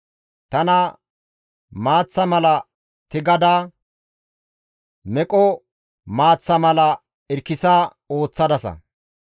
Tana maaththa mala tigada, meqo maaththa mala irkkisa ooththadasa.